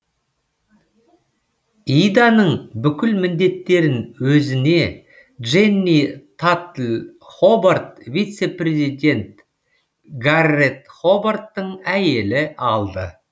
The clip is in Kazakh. иданың бүкіл міндеттерін өзіне дженни татл хобарт вице президент гаррет хобарттың әйелі алды